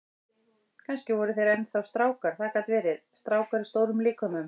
Kannski voru þeir enn þá strákar, það gat verið, strákar í stórum líkömum.